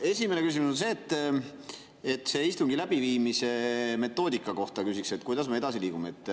Esimene küsimus on see: küsiks istungi läbiviimise metoodika kohta, kuidas me edasi liigume.